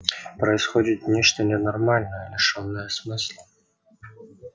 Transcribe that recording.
происходит нечто ненормальное лишённое смысла